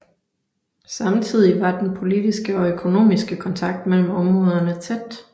Samtidig var den politiske og økonomiske kontakt mellem områderne tæt